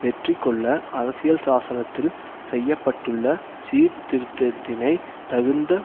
வெற்றி கொள்ள அரசியல் சாசனத்தில் செய்ய பட்டுள்ள சீர் திருத்தத்தினை தகுந்த